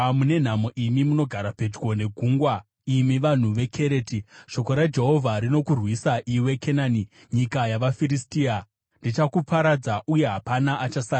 Mune nhamo imi munogara pedyo negungwa, imi vanhu veKereti; shoko raJehovha rinokurwisa, iwe Kenani nyika yavaFiristia. “Ndichakuparadza, uye hapana achasara.”